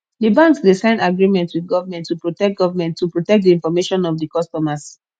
di banks dey sign agreement with government to protect government to protect di information of di customers